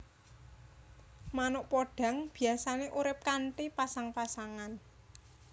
Manuk podhang biyasané urip kanthi pasang pasangan